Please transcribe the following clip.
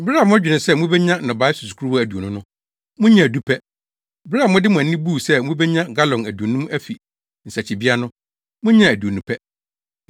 Bere a modwene sɛ mubenya nnɔbae susukoraa aduonu no, munyaa du pɛ. Bere a mode mo ani buu sɛ mubenya galɔn aduonum afi nsakyibea no, munyaa aduonu pɛ.